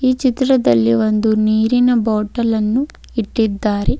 ಚಿತ್ರದಲ್ಲಿ ಒಂದು ನೀರಿನ ಬಾಟಲ್ ಅನ್ನು ಇಟ್ಟಿದ್ದಾರೆ.